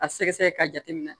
A sɛgɛsɛgɛ ka jateminɛ